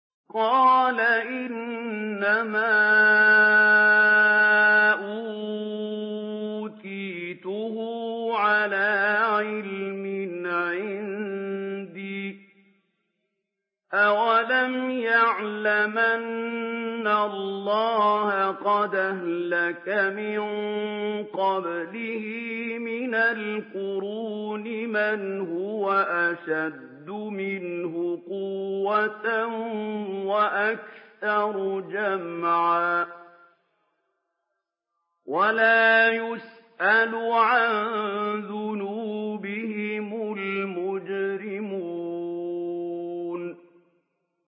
قَالَ إِنَّمَا أُوتِيتُهُ عَلَىٰ عِلْمٍ عِندِي ۚ أَوَلَمْ يَعْلَمْ أَنَّ اللَّهَ قَدْ أَهْلَكَ مِن قَبْلِهِ مِنَ الْقُرُونِ مَنْ هُوَ أَشَدُّ مِنْهُ قُوَّةً وَأَكْثَرُ جَمْعًا ۚ وَلَا يُسْأَلُ عَن ذُنُوبِهِمُ الْمُجْرِمُونَ